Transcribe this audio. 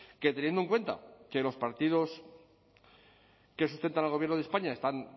que teniendo en cuenta que los partidos que sustentan al gobierno de españa están